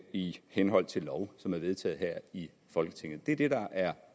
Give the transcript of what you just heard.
i henhold til lov som er vedtaget her i folketinget det er det der er